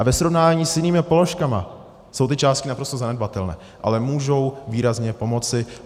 A ve srovnání s jinými položkami jsou ty částky naprosto zanedbatelné, ale můžou výrazně pomoci.